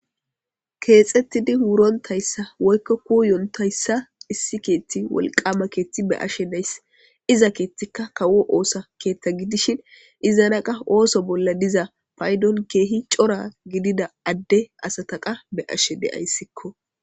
keexettidi wurontayssa woykko kuyontayssa issi keetti wolqama keetti be7ashe days iza keethtika kawo oosa keetta gidishin izanaqa ooso bolla diza paydon keehi cora gidida adde asataqa be7ashe deyayssikko